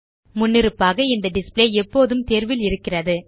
முன்னிருப்பாக இந்த டிஸ்ப்ளே எப்போதும் தேர்வில் இருக்கிறது